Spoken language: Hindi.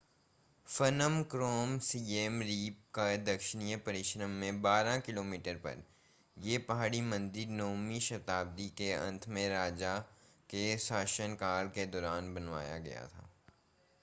फ्नोम क्रोम सिएम रीप के दक्षिण-पश्चिम में 12 किमी पर यह पहाड़ी मंदिर 9वीं शताब्दी के अंत में राजा यसोवर्मन के शासनकाल के दौरान बनाया गया था